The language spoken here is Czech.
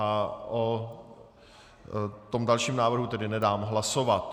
A o tom dalším návrhu tedy nedám hlasovat.